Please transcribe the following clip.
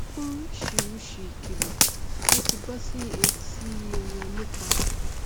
oríṣìíríṣìí ìkìlọ ló ti bọ sí etí i wọn nípa